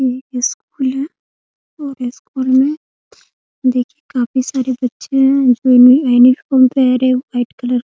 ये स्कूल है और स्कूल में देखिए काफी सारे बच्चे हैं जो यूनिफार्म पहने हैं व्हाइट कलर --